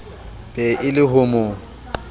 be e le ho mo